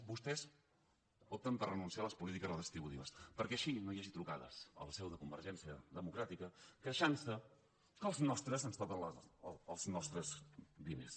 vostès opten per renunciar a les polítiques redistributives perquè així no hi hagi trucades a la seu de convergència democràtica queixant se que els nostres ens toquen els nostres diners